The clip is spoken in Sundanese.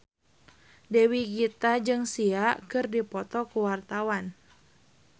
Dewi Gita jeung Sia keur dipoto ku wartawan